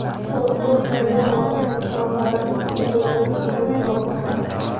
Kuwaa ordhayin waa in labara inti aay wali kalin orotomka.